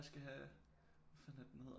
Skal have hvad fanden er det den hedder